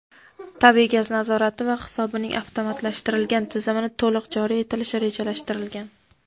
tabiiy gaz nazorati va hisobining avtomatlashtirilgan tizimini to‘liq joriy etilishi rejalashtirilgan.